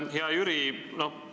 Hea Jüri!